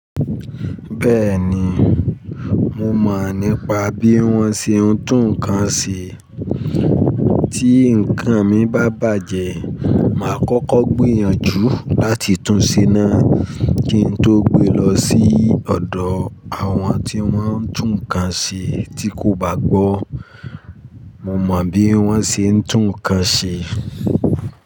Bẹ́ẹ̀ni, mo mọ̀ nípa bí wón ṣe ń tún ǹkan ṣe. Tí nǹkan mi bá bàjẹ́, màá kọ́kọ́ gbìyànjú láti tun ṣe náà kí n tó gbe lọ sí ọ̀dọ̀ àwọn tí wọ́n ń tún ǹkan ṣe tí kò bá gbó. Mo mọ̀ bí wón ṣe ń tún ǹkan ṣe.